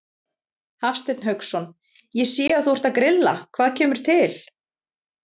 Hafsteinn Hauksson: Ég sé að þú ert að grilla, hvað kemur til?